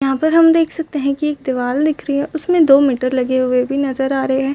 यहाँ पर हम देख सकते है की एक दीवाल दिख रहे हैं उसमे दो मीटर लगे हुए भी नज़र आ रहे है।